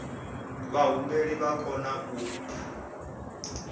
vhahumbeli vha o kona u